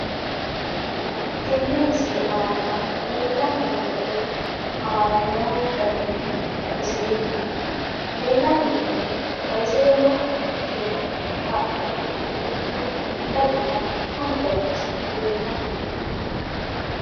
Tenne misile aana leelanni nooerre aana noo garinni xawiseemmo. Leelanni nooerre xawisewmoha ikkiro haqu qotto billawunna fanu baayichi leelanni nooe.